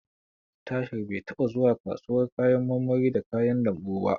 Tahir bai taɓa zuwa kasuwar kayan marmari da kayan lambu ba.